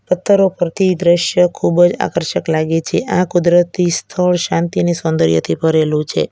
પથ્થરો પરથી દ્રશ્ય ખૂબ જ આકર્ષક લાગે છે આ કુદરતી સ્થળ શાંતિ અને સૌંદર્યથી ભરેલુ છે.